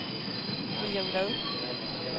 William Vad